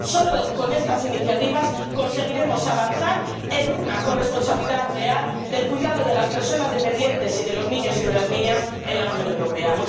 Solo con estas iniciativas conseguiremos avanzar en una corresponsabilidad real del cuidado de las personas dependientes y de los niños y de las niñas en la Unión Europea.